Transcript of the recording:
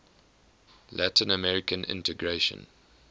latin american integration